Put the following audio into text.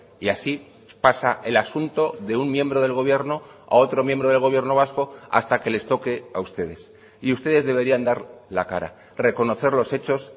y así pasa el asunto de un miembro del gobierno a otro miembro del gobierno vasco hasta que les toque a ustedes y ustedes deberían dar la cara reconocer los hechos